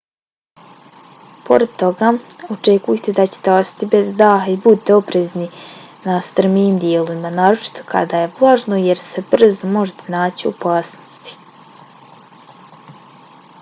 pored toga očekujte da ćete ostati bez daha i budite oprezni na strmijim dijelovima naročito kada je vlažno jer se brzo možete naći u opasnosti